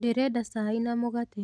Ndĩrenda cai na mũgate.